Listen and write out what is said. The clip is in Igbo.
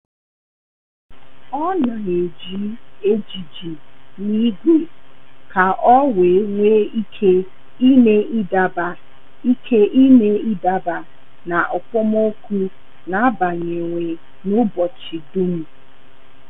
Ọ́ nà-ejì ejiji n’ígwé kà ọ́ wee nwee ike ị́mé ị́daba ike ị́mé ị́daba na okpomọkụ nà-ágbànwè n’ụ́bọ̀chị̀ dùm.